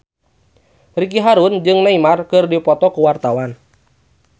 Ricky Harun jeung Neymar keur dipoto ku wartawan